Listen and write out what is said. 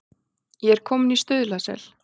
Ég er kominn í Stuðlasel.